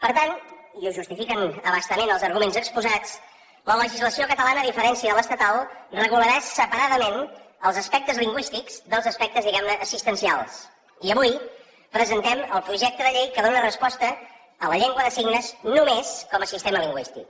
per tant i ho justifiquen a bastament els arguments exposats la legislació catalana a diferència de l’estatal regularà separadament els aspectes lingüístics dels aspectes diguem ne assistencials i avui presentem el projecte de llei que dóna resposta a la llengua de signes només com a sistema lingüístic